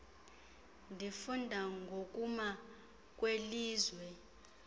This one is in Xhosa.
ndifunda ngokuma kwelizwe